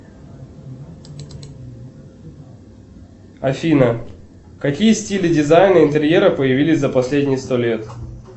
афина какие стили дизайна интерьера появились за последние сто лет